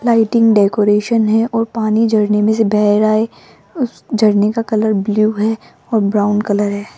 Lighting decoration है और पानी झरने मे से बह रहा है झरने का कलर ब्ल्यू है और ब्राउन कलर है।